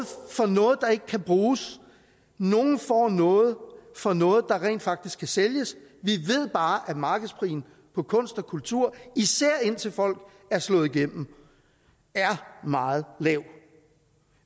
for noget der ikke kan bruges nogle får noget for noget der rent faktisk kan sælges vi ved bare at markedsprisen på kunst og kultur især indtil folk er slået igennem er meget lav